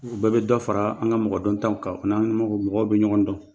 U bɛɛ bɛ dɔ fara an ka mɔgɔ dontanw kan, u n'an mɔgɔ mɔgɔ bɛ ɲɔgon don.